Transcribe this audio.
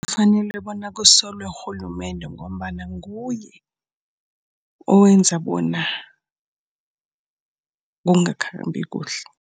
Kufanele bona kusulwe urhulumende ngombana nguye owenza bona kungakhambi kuhle.